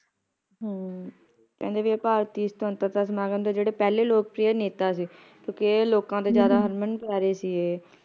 ਹਮ ਕਹਿੰਦੇ ਵੀ ਇਹ ਭਾਰਤੀ ਸਵੰਤਰਤਾ ਸਮਾਗਮ ਦੇ ਜਿਹੜੇ ਪਹਿਲੇ ਲੋਕਪ੍ਰਿਯ ਨੇਤਾ ਸੀ ਕਿਉਕਿ ਇਹ ਲੋਕਾਂ ਦੇ ਜ਼ਯਾਦਾ ਹਰਮਨ ਪਯਾਰੇ ਸੀ ਇਹ